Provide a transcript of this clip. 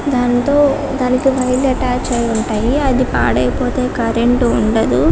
దాంతో దానికి వైర్లు అటాచ్ అయి ఉంటాయి అది పాడైపోతే కరెంటు ఉండదు